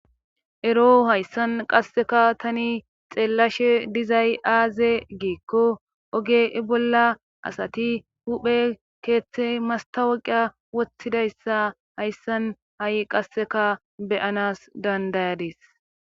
ero hayssan qasseka tani xeellashe dizay aaze giikko oge i bolla asati huphe keeththe mastawaqa woththidayssa hayssan ha7i qasseka beyanas dandayades